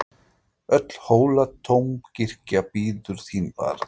Öll Hóladómkirkja bíður þín barn!